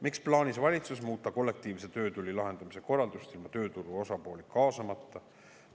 Miks plaanis valitsus muuta kollektiivse töötüli lahendamise korraldust ilma tööturu osapooli kaasamata?